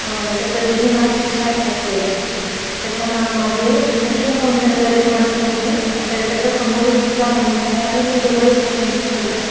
अ त्याचे दोन्ही हात खिश्यात घातलेले आहेत त्या त्याच्या मागे रिसेप्शन कॉउंटर वर एक माणूस आहे त्या त्याच्या समोर एक दुसरा माणूस आहे आणि ते दोघ एकमेकांशी बोलत आहेत.